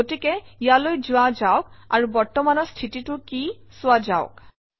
গতিকে ইয়ালৈ যোৱা যাওক আৰু বৰ্তমানৰ স্থিতিটো কি চোৱা যাওক